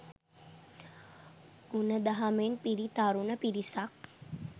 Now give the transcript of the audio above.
ගුණ දහමෙන් පිරි තරුණ පිරිසක්